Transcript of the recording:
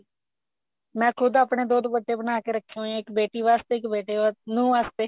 ਮੈਂ ਖੁੱਦ ਆਪਣੇ ਦੋ ਦੁਪੱਟੇ ਬਣਾਕੇ ਰੱਖੇ ਹੋਏ ਐ ਇੱਕ ਬੇਟੀ ਵਾਸਤੇ ਇੱਕ ਬੇਟੇ ਵਾਸਤੇ ਨੂੰਹ ਵਾਸਤੇ